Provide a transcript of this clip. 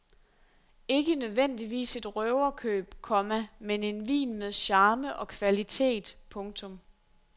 Ikke nødvendigvis et røverkøb, komma men en vin med charme og kvalitet. punktum